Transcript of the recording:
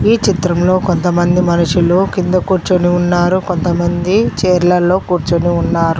ఈ చిత్రంలో కొంతమంది మనుషులు కింద కూర్చొని ఉన్నారు కొంతమంది చైర్ల లో కూర్చొని ఉన్నారు.